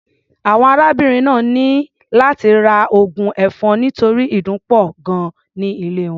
Àwọn arábìnrin náà ní láti ra oògùn ẹ̀fọn nítorí ìdun pọ̀ gan-an ní ilé wọn.